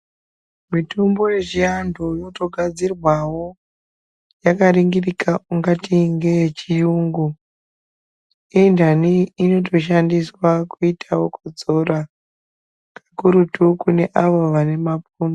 Mitombo yechiantu inotogadzirwawo yakaringirika ungati ngeyechiyungu intani inotoshandiswa kuitawo kudzora kukuruta kune avo vanemapundu.